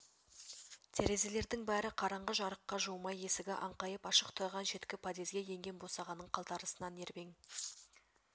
терезелердің бәрі қараңғы жарыққа жуымай есігі аңқайып ашық тұрған шеткі подъезге енген босағаның қалтарысынан ербең